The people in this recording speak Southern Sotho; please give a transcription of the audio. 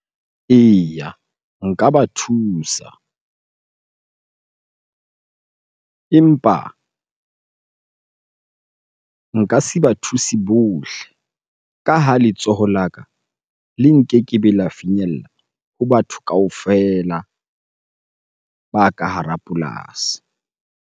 Eya nka ba thusa empa nka se ba thusi bohle ka ha letsoho la ka le nkekebe la finyella ho batho kaofela ba ka hara polasi.